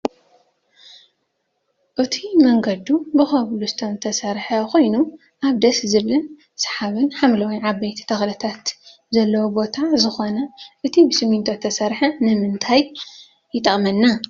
እቱይ መንገዱ ብኮብልስቶን ዝተሰረሓ ኮይኑ ኣብ ደስ ዝብልን ስሓብን ሓምለዋይ ዓበይቲ ተክልታት ዘለዎ ቦታ ዝኮነ እቱይ ብስሚንቶ ዝተሰረሓ ንምንታይ ይጠቅመና?